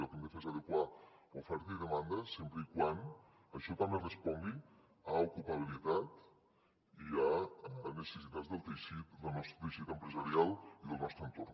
el que hem de fer és adequar oferta i demanda sempre que això també respongui a ocupabilitat i a les necessitats del nostre teixit empresarial i del nostre entorn